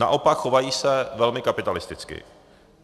Naopak, chovají se velmi kapitalisticky.